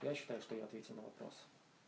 я считаю что я ответил на вопрос